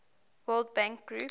world bank group